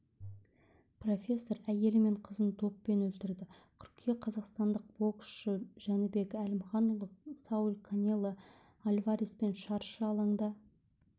профессор әйелі мен қызын доппен өлтірді қыркүйек қазақстандық боксшы жәнібек әлімханұлы сауль канело альвареспен шаршы алаңда